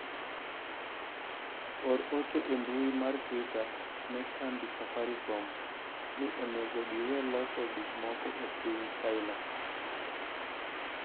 or ote e mbui mar twita ne kambi safarikom ni onego giwe loso gik moko e piny china